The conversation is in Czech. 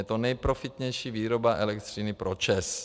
Je to nejprofitnější výroba elektřiny pro ČEZ.